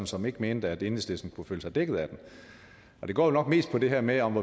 som ikke mente at enhedslisten kunne føle sig dækket af det det går nok mest på det her med om